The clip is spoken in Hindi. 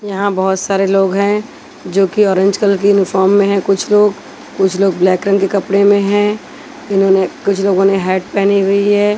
यहां बहोत सारे लोग हैं जो की ऑरेंज कलर की यूनिफॉर्म में है कुछ लोग कुछ लोग ब्लैक रंग के कपड़े में है इन्होंने कुछ लोगों ने हैट पेहनी हुई है।